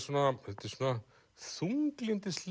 þetta er svona